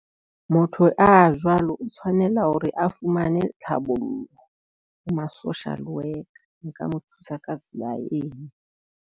Motho a jwalo o tshwanela hore a fumane tlhabollo ho ma social worker. Nka mo thusa ka tsela eo.